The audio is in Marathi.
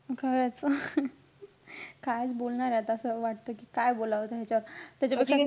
खरंच. कायचं बोलणारे आता. असं वाटतं कि काय बोलावं आता ह्याच्यावर त्याच्यापेक्षा,